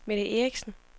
Mette Erichsen